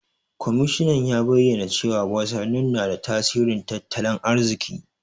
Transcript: Kwamishinan ya bayyana cewa wasanni na da tasirin tattalin arziki.